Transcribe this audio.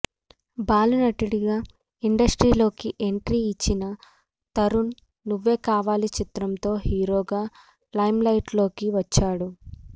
బాలనటుడిగా ఇండస్ట్రీలోకి ఎంట్రీ ఇచ్చిన తరుణ్ నువ్వేకావాలి చిత్రంతో హీరోగా లైమ్లైట్లోకి వచ్చాడు